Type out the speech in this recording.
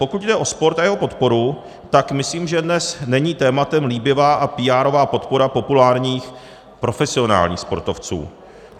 Pokud jde o sport a jeho podporu, tak myslím, že dnes není tématem líbivá a píárová podpora populárních profesionálních sportovců.